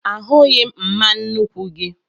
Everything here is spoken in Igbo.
Ahụghị m mma nnuku gị